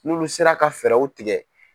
N'olu sera ka fɛɛrɛw tigɛ.